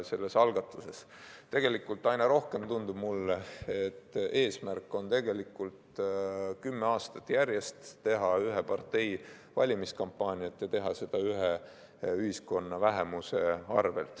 Tegelikult tundub mulle aina rohkem, et eesmärk on kümme aastat järjest teha ühe partei valimiskampaaniat ja teha seda ühiskonna ühe vähemuse arvel.